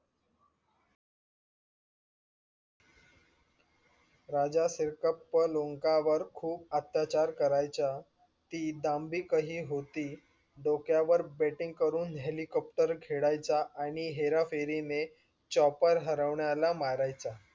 राजा फिरक्ता लोकांवर खूप अत्याचार करायचा ती डंबिकही होती डोक्यावर betting करून helicopter खेळायच्या आणि हेरा फेरीने choper हरवण्याला मारायचा.